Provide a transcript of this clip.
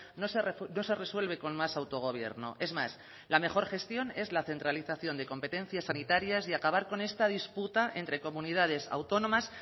no se resuelve con más autogobierno es más la mejor gestión es la centralización de competencias sanitarias y acabar con esta disputa entre comunidades autónomas